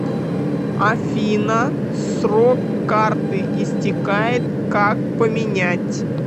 афина срок карты истекает как поменять